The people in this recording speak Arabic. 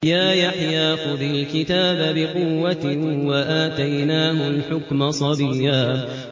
يَا يَحْيَىٰ خُذِ الْكِتَابَ بِقُوَّةٍ ۖ وَآتَيْنَاهُ الْحُكْمَ صَبِيًّا